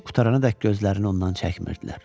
içib qurtarana dək gözlərini ondan çəkmirdilər.